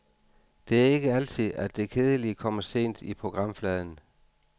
Det er ikke altid, at det kedelige kommer sent i programfladen.